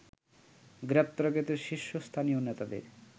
গ্রেপ্তারকৃত শীর্ষস্থানীয় নেতাদের